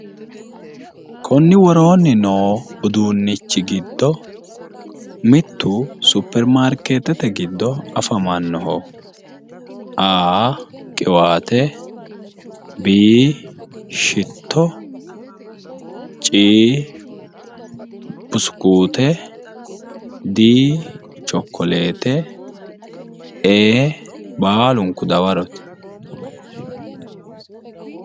Konni worooni no udduunnichi giddo mittu supirimaarkeetete giddo afamanno a.qiwaate b.shitto c.busikuute d.chokoleete.e.baalunku dawarote